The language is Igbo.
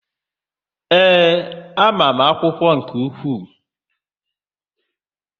Ee, ama m akwụkwọ nke ukwuu.